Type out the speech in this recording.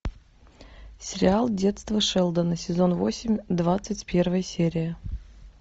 сериал детство шелдона сезон восемь двадцать первая серия